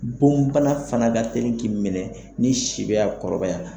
Boni bana fana ka teri k'i minɛ n'i si bɛ ka kɔrɔbaya.